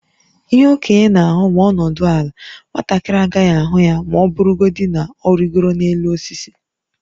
Ihe okenye na-ahụ ma ọ nọdụ ala, nwatakịrị agaghị ahụ ya ma ọ bụrụgodị na ọ rịgoro n’elu osisi.